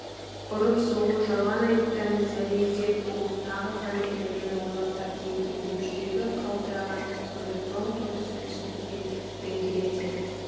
ұрып-соғу жалған айыптан зәрезеп болып тағы қандай пәлені ойлап тапты екен деп жүрегі қалтыраған тұтқынды тоң-торыс үнсіздікпен діңкелете